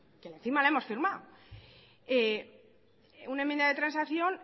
encima la hemos firmado una enmienda de transacción